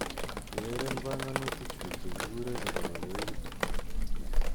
Ureren banganutiknyu chekiurereni chebo kolekit